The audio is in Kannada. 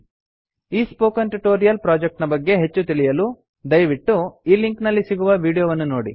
ಈ ಸ್ಪೋಕನ್ ಟ್ಯುಟೋರಿಯಲ್ ಪ್ರೊಜೆಕ್ಟ್ ನ ಬಗ್ಗೆ ಹೆಚ್ಚು ತಿಳಿಯಲು ದಯವಿಟ್ಟು ಈ ಲಿಂಕ್ ನಲ್ಲಿ ಸಿಗುವ ವೀಡಿಯೋ ವನ್ನು ನೋಡಿ